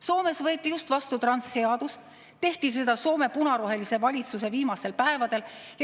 Soomes võeti just vastu transseadus, seda tehti Soome punarohelise valitsuse viimastel päevadel.